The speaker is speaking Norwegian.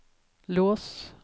lås